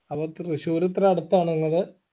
അപ്പൊ തൃശൂർ ഇത്ര അടുത്താണോ നിങ്ങളെ